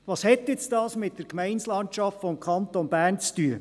Was hat dies nun mit der Gemeindelandschaft des Kantons Bern zu tun?